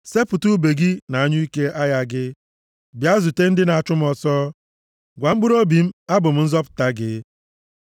Sepụta ùbe gị na anyụike agha gị; bịa zute ndị na-achụ m ọsọ. Gwa mkpụrụobi m, “Abụ m nzọpụta gị.”